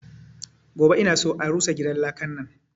Gobe ina son a rusa gidan lakan nan!